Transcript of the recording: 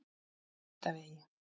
Naustavegi